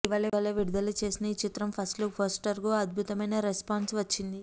ఇటీవలే విడుదల చేసిన ఈ చిత్రం ఫస్ట్ లుక్ పోస్టర్కు అద్భుతమైన రెస్పాన్స్ వచ్చింది